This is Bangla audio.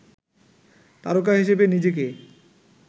তারকা হিসেবে নিজেকে